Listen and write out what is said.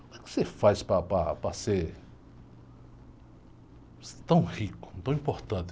O que você faz para, para, para ser tão rico, tão importante?